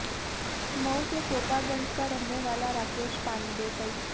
मऊ के कोपागंज का रहने वाला राकेश पांडे कई